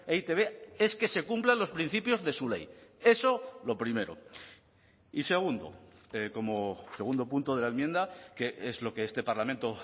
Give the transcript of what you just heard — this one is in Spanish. e i te be es que se cumplan los principios de su ley eso lo primero y segundo como segundo punto de la enmienda que es lo que este parlamento